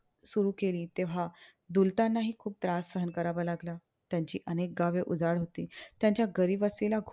सुरु केली. तेव्हा दुलतानाही खूप त्रास सहन करावा लागला. त्यांची अनेक गावे उजाड होती. त्यांच्या घरी बसलेला